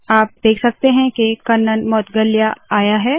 आप देख सकते है के कन्नन मौदगल्या आया है